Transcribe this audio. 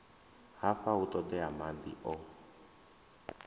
hafha hu ṱoḓea maḓi o